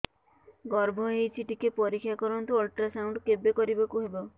ଗର୍ଭ ହେଇଚି ଟିକେ ପରିକ୍ଷା କରନ୍ତୁ ଅଲଟ୍ରାସାଉଣ୍ଡ କେବେ କରିବାକୁ ହବ